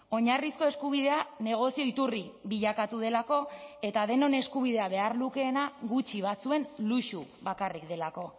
oinarrizko eskubidea negozio iturri bilakatu delako eta denon eskubidea behar lukeena gutxi batzuen luxu bakarrik delako